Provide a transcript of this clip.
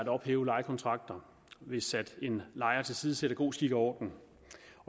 at ophæve lejekontrakter hvis en lejer tilsidesætter god skik og orden